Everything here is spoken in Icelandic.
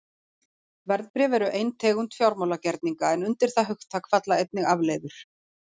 Verðbréf eru ein tegund fjármálagerninga en undir það hugtak falla einnig afleiður.